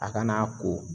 A kana ko